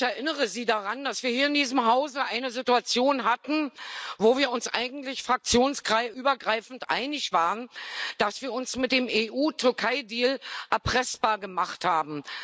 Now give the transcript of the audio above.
Ich erinnere Sie daran, dass wir hier in diesem Hause eine Situation hatten, wo wir uns eigentlich fraktionsübergreifend einig waren, dass wir uns mit dem EU Türkei Deal erpressbar gemacht haben.